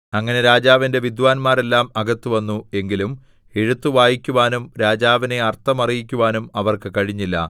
അങ്ങനെ രാജാവിന്റെ വിദ്വാന്മാരെല്ലാം അകത്തുവന്നു എങ്കിലും എഴുത്ത് വായിക്കുവാനും രാജാവിനെ അർത്ഥം അറിയിക്കുവാനും അവർക്ക് കഴിഞ്ഞില്ല